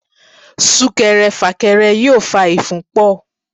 Súnkẹrẹ fàkẹrẹ yóò fa ìfúnpọ̀.